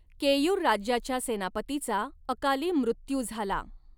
केयूर राज्याच्या सेनापतीचा अकाली मृत्यू झाला.